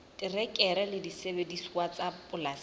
terekere le disebediswa tsa polasing